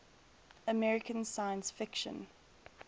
american science fiction